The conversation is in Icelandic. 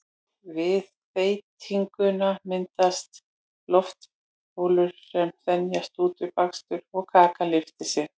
við þeytinguna myndast loftbólur sem þenjast út við bakstur og kakan lyftir sér